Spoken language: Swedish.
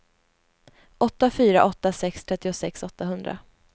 åtta fyra åtta sex trettiosex åttahundra